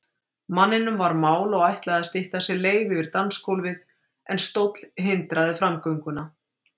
Manninum var mál og ætlaði að stytta sér leið yfir dansgólfið, en stóll hindraði framgönguna.